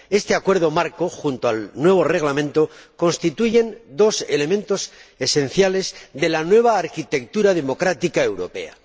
Este Acuerdo marco y el nuevo Reglamento constituyen dos elementos esenciales de la nueva arquitectura democrática europea.